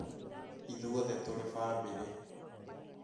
Ithuothe tũrĩ famĩlĩ